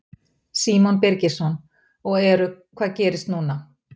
Símon Birgisson: Og eru, hvað gerist núna?